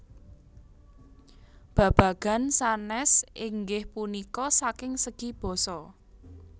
Babagan sanés inggih punika saking segi basa